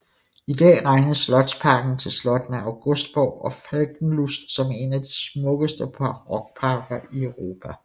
I dag regnes slotsparken til slottene Augustburg og Falkenlust som en af de smukkeste barokparker i Europa